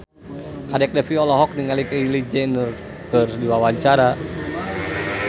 Kadek Devi olohok ningali Kylie Jenner keur diwawancara